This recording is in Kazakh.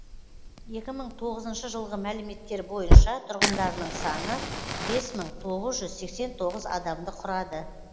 екі мың тоғызыншы жылғы мәліметтер бойынша тұрғындарының саны бес мың тоғыз жүз сексен тоғыз адамды құрады